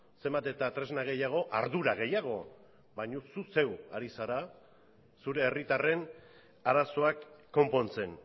zenbat eta tresna gehiago ardura gehiago baina zu zeu ari zara zure herritarren arazoak konpontzen